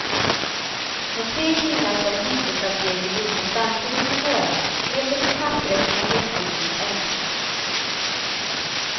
När tre killar på en häktesavdelning rymde samtidigt i våras blev det på papperet en jättelik ökning.